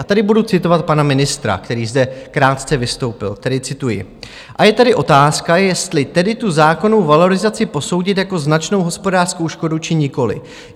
A tady budu citovat pana ministra, který zde krátce vystoupil, tedy cituji: A je tady otázka, jestli tedy tu zákonnou valorizaci posoudit jako značnou hospodářskou škodu, či nikoliv.